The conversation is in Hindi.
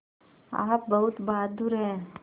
आप बहुत बहादुर हैं